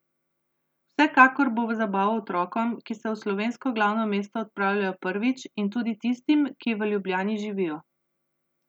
Vsekakor bo v zabavo otrokom, ki se v slovensko glavno mesto odpravljajo prvič, in tudi tistim, ki v Ljubljani živijo.